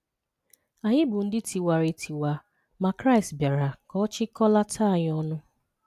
Anyị bụ ndị tiwara etiwa, ma Kraịst bịara ka ọ chịkọlata anyị ọnụ